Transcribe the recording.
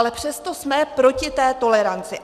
Ale přesto jsme proti té toleranci.